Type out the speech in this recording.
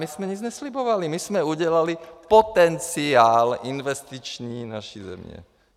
My jsme nic neslibovali, my jsme udělali potenciál investiční naší země.